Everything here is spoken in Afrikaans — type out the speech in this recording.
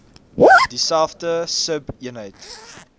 dieselfde sub eenheid